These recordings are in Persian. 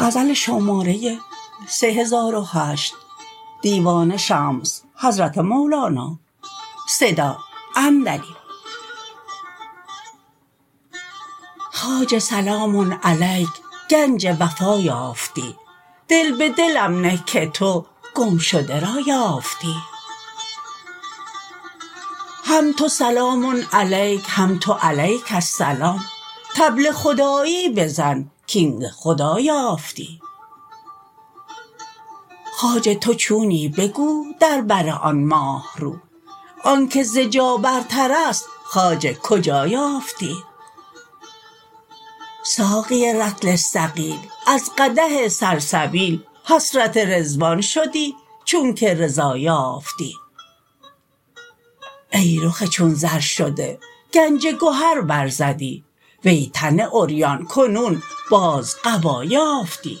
خواجه سلام علیک گنج وفا یافتی دل به دلم نه که تو گمشده را یافتی هم تو سلام علیک هم تو علیک السلام طبل خدایی بزن کاین ز خدا یافتی خواجه تو چونی بگو در بر آن ماه رو آنک ز جا برترست خواجه کجا یافتی ساقی رطل ثقیل از قدح سلسبیل حسرت رضوان شدی چونک رضا یافتی ای رخ چون زر شده گنج گهر برزدی وی تن عریان کنون باز قبا یافتی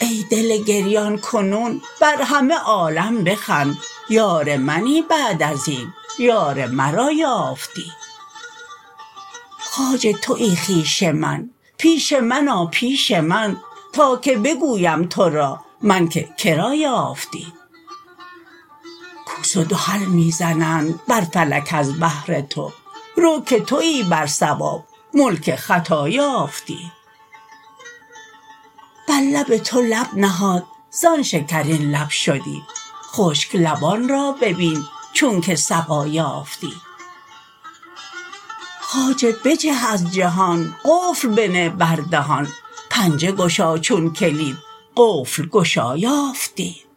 ای دل گریان کنون بر همه عالم بخند یار منی بعد از این یار مرا یافتی خواجه توی خویش من پیش من آ پیش من تا که بگویم تو را من که که را یافتی کوس و دهل می زنند بر فلک از بهر تو رو که توی بر صواب ملک خطا یافتی بر لب تو لب نهاد زان شکرین لب شدی خشک لبان را ببین چونک سقا یافتی خواجه بجه از جهان قفل بنه بر دهان پنجه گشا چون کلید قفل گشا یافتی